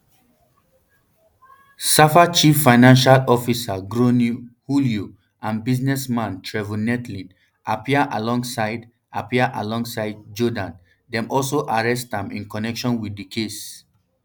safa chief financial officer gronie hluyo and businessman trevor neethling appear alongside appear alongside jordaan dem also arrest am in connection wit di case